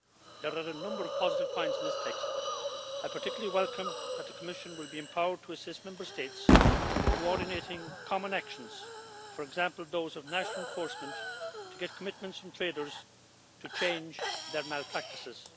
There are a number of positive points in this text. I particularly welcome that the Commission will be empowered to assist Member States in coordinating common actions for example those of national enforcement to get commitments from traders to change their malpractices.